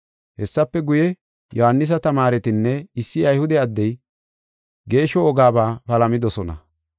Hessafe guye, Yohaanisa tamaaretinne issi Ayhude addey geeshsho wogabaa palamidosona.